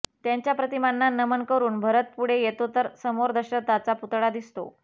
त्यांच्या प्रतिमांना नमन करून भरत पुढे येतो तर समोर दशरथाचा पुतळा दिसतो